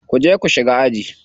Ku je ku shiga aji.